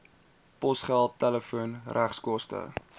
posgeld telefoon regskoste